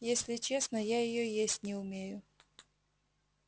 если честно я её есть не умею